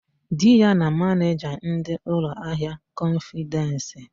Di ya ma manịja ndị ụlọahịa kọnfịdensi.